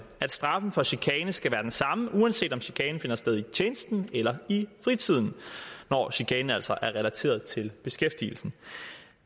at straffen for chikane skal være den samme uanset om chikanen finder sted i tjenesten eller i fritiden når chikanen altså er relateret til beskæftigelsen